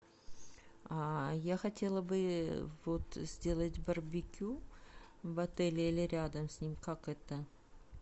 а я хотела бы вот сделать барбекю в отеле или рядом с ним как это